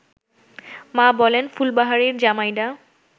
মা বলেন–ফুলবাহারির জামাইডা